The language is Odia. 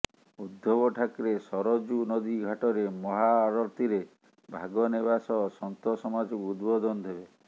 ଉଦ୍ଧବ ଠାକ୍ରେ ସରଜୁ ନଦୀ ଘାଟରେ ମହା ଆଳତିରେ ଭାଗ ନେବା ସହ ସନ୍ଥ ସମାଜକୁ ଉଦବୋଧନ ଦେବେ